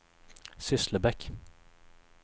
Sysslebäck